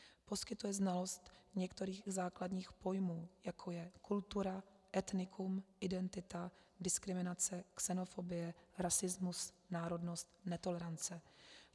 Poskytuje znalost některých základních pojmů, jako je kultura, etnikum, identita, diskriminace, xenofobie, rasismus, národnost, netolerance.